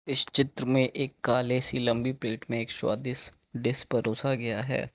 इस चित्र में एक काले सी लंबी प्लेट में एक स्वादिष्ट डिश परोसा गया है।